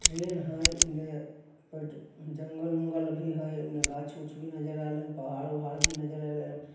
Train है इन पैट जंगल-उंगल भी है। गाछ-उक्ष भी नज़र आ रहे पहाड़ी-उहार भी नज़र आ रहे हैं ।